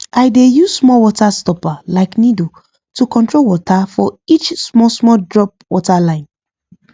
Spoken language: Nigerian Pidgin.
i dey use small water stopper like needle to control water for each small small drop water line